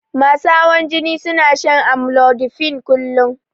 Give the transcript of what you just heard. Masu hawan jini suna shan amlodipine kullun